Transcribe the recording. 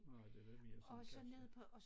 Nej det var mere sådan casual